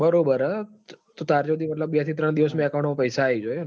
બરોબર ચાર્જો હુડી બે થી ત્રણ દિવસ મો પઇસા આઇજો ઇ મ